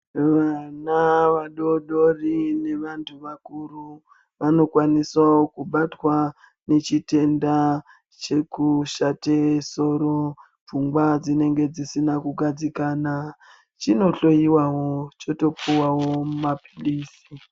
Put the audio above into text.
Vana vadodori ne vantu vakuru vano kwanisawo kubatwa ne chi tenda cheku shate soro pfungwa dzinenge dzisina ku gadzikana chino hloyiwa choto puwawo ma pilisi.